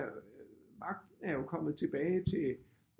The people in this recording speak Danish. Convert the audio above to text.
Magt er jo kommet tilbage til